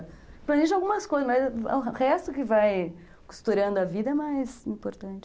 Planeja algumas coisas, mas o resto que vai costurando a vida é mais importante.